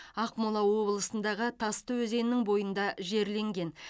ақмола облысындағы тасты өзенінің бойында жерленген